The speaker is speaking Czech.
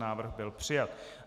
Návrh byl přijat.